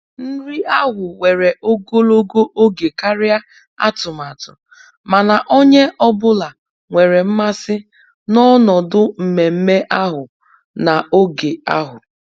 Nri ahụ were ogologo oge karịa atụmatụ, mana onye ọ bụla nwere mmasị n'ọnọdụ mmemme ahụ na'oge ahụ